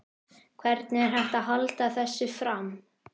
Hvernig er hægt að halda þessu fram?